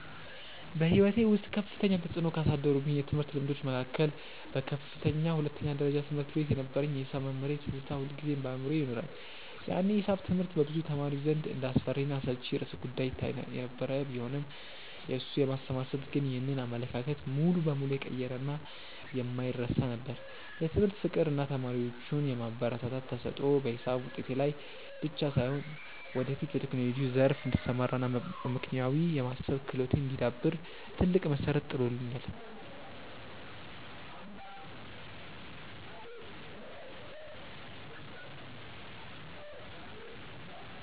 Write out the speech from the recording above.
በሕይወቴ ውስጥ ከፍተኛ ተፅዕኖ ካሳደሩብኝ የትምህርት ልምዶች መካከል በከፍተኛ ሁለተኛ ደረጃ ትምህርት ቤት የነበረኝ የሒሳብ መምህሬ ትዝታ ሁልጊዜም በአእምሮዬ ይኖራል። ያኔ ሒሳብ ትምህርት በብዙ ተማሪዎች ዘንድ እንደ አስፈሪና አሰልቺ ርዕሰ-ጉዳይ ይታይ የነበረ ቢሆንም፣ የእሱ የማስተማር ስልት ግን ይህንን አመለካከት ሙሉ በሙሉ የቀየረና የማይረሳ ነበር። የትምህርት ፍቅር እና ተማሪዎቹን የማበረታታት ተሰጥኦ በሒሳብ ውጤቴ ላይ ብቻ ሳይሆን፣ ወደፊት በቴክኖሎጂው ዘርፍ እንድሰማራ እና አመክንዮአዊ የማሰብ ክህሎቴ እንዲዳብር ትልቅ መሠረት ጥሎልኛል።